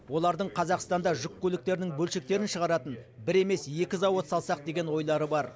олардың қазақстанда жүк көліктерінің бөлшектерін шығаратын бір емес екі зауыт салсақ деген ойлары бар